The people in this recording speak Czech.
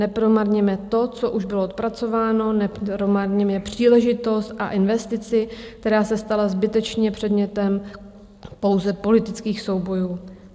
Nepromarněme to, co už byl odpracováno, nepromarněme příležitost a investici, která se stala zbytečně předmětem bouře politických soubojů.